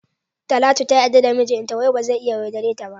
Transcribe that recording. Talatu ta yarda da mijinta wai bazai iya yaudareta.